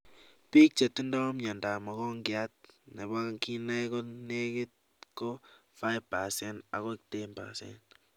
Biik chetindio miondo ab mogongiat nebo kinaik konekit ko 5% akoi 10%